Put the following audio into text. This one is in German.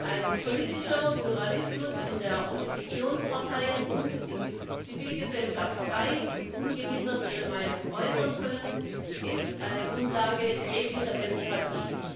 Ein politischer Pluralismus, in dem Oppositionsparteien und die Zivilgesellschaft frei und ungehindert ihre Meinung äußern können, ist eine Grundlage jeglicher Demokratie.